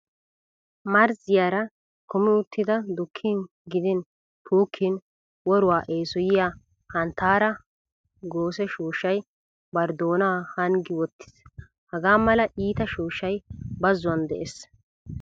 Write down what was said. Marzziyara kumi uttida dukkin gidin puukkin woruwa eesoyiya hanttaara goose shooshshay bari doonaa hanggi wottiis. Hagaa mala iita shooshshay bazzuwan de'es.